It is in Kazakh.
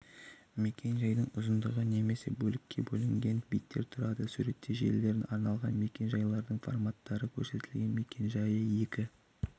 мекен-жайдың ұзындығы немесе бөлікке бөлінген биттен тұрады суретте желілеріне арналған мекен-жайлардың форматтары көрсетілген мекен-жайы екі